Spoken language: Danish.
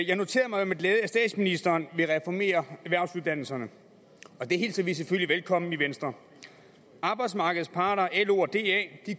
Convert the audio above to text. jeg noterede mig med glæde at statsministeren vil reformere erhvervsuddannelserne og det hilser vi selvfølgelig velkommen i venstre arbejdsmarkedets parter lo og da